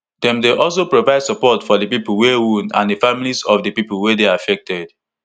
dem dey aslo provide support for di pipo wey wound and di families of di pipo wey dey affected